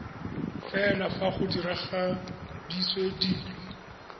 fela fa go diragaditswe dilo